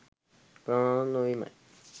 ප්‍රමාණවත් නොවීමයි.